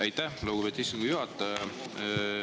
Aitäh, lugupeetud istungi juhataja!